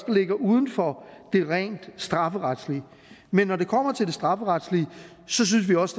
ligger uden for det rent strafferetslige men når det kommer til det strafferetlige synes vi også